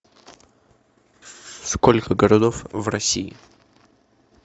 сколько городов в россии